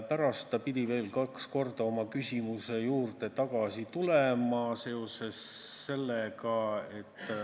Pärast pidi ta veel kaks korda oma küsimuse juurde tagasi tulema.